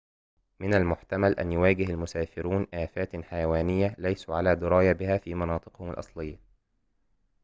من المحتمل أن يواجه المسافرون آفات حيوانية ليسوا على دراية بها في مناطقهم الأصلية